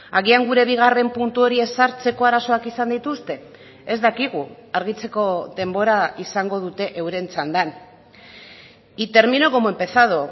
agian gure bigarren puntu hori ezartzeko arazoak izan dituzte ez dakigu argitzeko denbora izango dute euren txandan y termino como he empezado